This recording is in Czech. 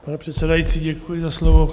Pane předsedající, děkuji za slovo.